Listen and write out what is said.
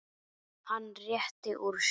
Hann rétti úr sér.